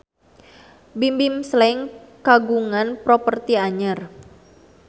Bimbim Slank kagungan properti anyar